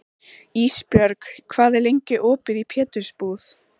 Ísbjörg, hvað er lengi opið í Pétursbúð?